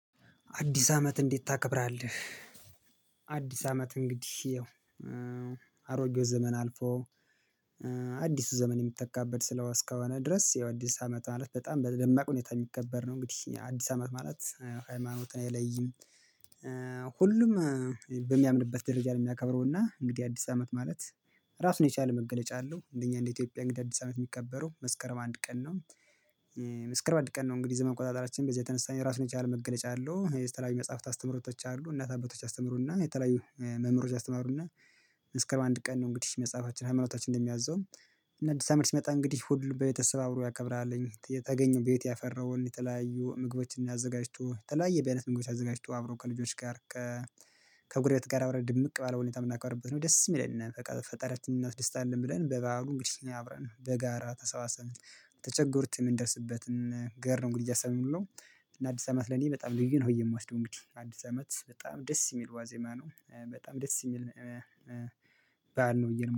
አዲስ አመት እንዴት ታከብራለህ? አዲስ አመት እንግዲህ ያው እም አሮጌው ዘመን አልፎ አዲሱ ዘመን የሚተካበት ስለሆነ እስከሆነ ድረስ ያው አዲስ አመት ማለት በጣም በደማቅ ሁኔታ የሚከበር ነው እንግዲህ አዲስ አመት ማለት ሃይማኖትን አይለይም። ሁሉም እም በሚያምንበት ደረጃ ነው የሚያከብረው እና እንግዲህ አዲስ አመት ማለት ራሱን የቻለ መገለጫ አለው። እንደኛ እንደ ኢትዮጵያ እንግዲህ አዲስ አመት የሚከበረው መስከረም አንድ ቀን ነው። እ መስከረም አንድ ቀን ነው። እንግዲህ ዘመን አቆጣጠራችን በዚህ የተነሳ የራሱን የቻለ መገለጫ አለው። እ የተለያዩ መጽሐፍት አስተምሮቶች አሉ እናት አባቶች ሲያስተምሩ እና የተለያዩ መምህሮች ያስተማሩነ መስከረም አንድ ቀን ነው። እንግዲህ መጽሐፋችን ሃይማኖታችን እንደሚያዘው። እና አዲስ አመት ሲመጣ እንግዲህ ሁሉ ቤተሰብ አብሮ ያከብራለኝ የተገኘው ቤት ያፈራውን የተለያዩ ምግቦችን አዘጋጅቶ ተለያየ በየአይነት ምግቦችን አዘጋጅቶ አብሮ ከልጆች ጋር ከ ከጎረቤት ጋር አብረን ድምቅ ባለ ሁኔታ የምናከብርበት ነው። ደስም ይለናል ፈጣሪያችን እናስደስታለን ብለን በበዓሉ እንግዲህ አብረን በጋራ ተሰባሰብን የተቸገሩት የምንደርስበትን እ ገር ነው እንግዲህ ያሰብነው የምንውለው። እና አዲስ አመት ለኔ በጣም ልዩ ነው። የምወስደው እንግዲህ አዲስ አመት በጣም ደስ የሚል ዋዜማ ነው። እ በጣም ደስ የሚል እ እ ባዓል ነው ብዬ ነው